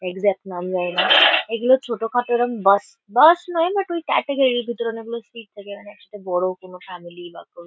Exact নাম জানি না। এগুলো ছোট-খাটো ওরম বাস বাস নয় বাট ওই ক্যাটাগরি । ভিতরে অনেকগুলো সিট থাকে মানে সেটা বড় কোনো ফ্যামিলি বা কোনো --